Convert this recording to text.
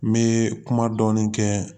N bɛ kuma dɔɔni kɛ